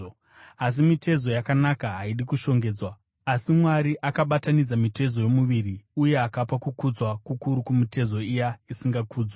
asi mitezo yakanaka haidi kushongedzwa. Asi Mwari akabatanidza mitezo yomuviri uye akapa kukudzwa kukuru kumitezo iya isingakudzwi,